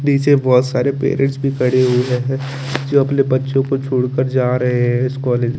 निचे बोहोत सारे पेरेंट्स भी खड़े हुए है जो अपने बच्चो को छोड़ क्र जा रहे है कॉलेज में --